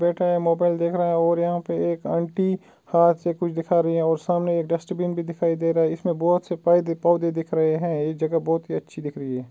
बैठा हुआ मोबाइल देख रहा है और यहाँ पे एक आंटी हाथ से कुछ दिखा रही है और सामने एक डस्टबिन भी दिखायी दे रहा है इसमें बहुत से पौधे दिख रहे है एक जगह बहुत ही अच्छी दिख रही है।